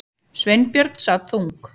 Sveinbjörn sat þung